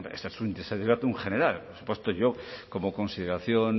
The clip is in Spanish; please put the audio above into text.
hombre esto es un desiderátum general por supuesto yo como consideración